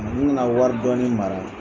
N nana wari dɔɔni mara.